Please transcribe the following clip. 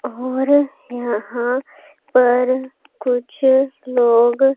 और यहां पर कुछ लोग--